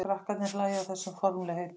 Krakkarnir hlæja að þessum formlegheitum.